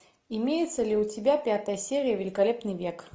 имеется ли у тебя пятая серия великолепный век